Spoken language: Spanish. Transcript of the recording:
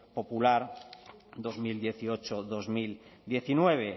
popular en dos mil dieciocho dos mil diecinueve